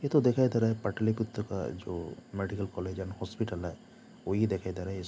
ये तो दिखाई दे रहा हैं पाटलीपुत्र का जो मेडिकल कॉलेज हैं एंड हॉस्पिटल है वो ही दिखाई दे रहा हैं। इस मे--